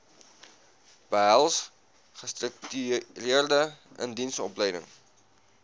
behels gestruktureerde indiensopleiding